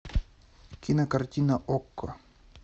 кинокартина окко